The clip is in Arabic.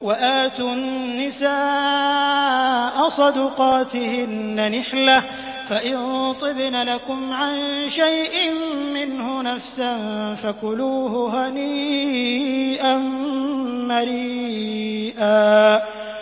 وَآتُوا النِّسَاءَ صَدُقَاتِهِنَّ نِحْلَةً ۚ فَإِن طِبْنَ لَكُمْ عَن شَيْءٍ مِّنْهُ نَفْسًا فَكُلُوهُ هَنِيئًا مَّرِيئًا